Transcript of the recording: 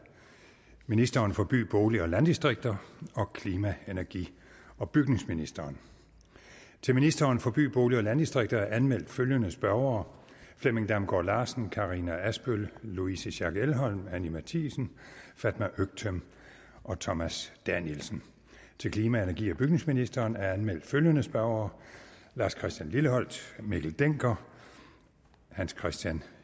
ministeren for by bolig og landdistrikter og klima energi og bygningsministeren til ministeren for by bolig og landdistrikter er anmeldt følgende spørgere flemming damgaard larsen karina adsbøl louise schack elholm anni matthiesen fatma øktem thomas danielsen til klima energi og bygningsministeren er anmeldt følgende spørgere lars christian lilleholt mikkel dencker hans kristian